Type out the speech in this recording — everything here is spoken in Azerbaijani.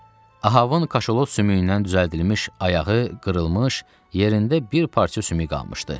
Ahavın kaşalot sümüyündən düzəldilmiş ayağı qırılmış, yerində bir parça sümük qalmışdı.